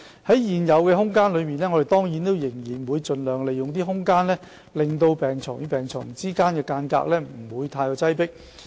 在現有的空間限制下，我們當然仍然會盡量令病床與病床之間的距離不會太擠迫。